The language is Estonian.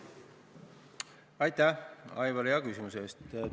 Aitäh, Aivar, hea küsimuse eest!